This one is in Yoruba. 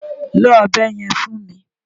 Lo ọ̀bẹ yẹn fún mi!